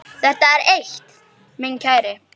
Það er eitt, minn kæri.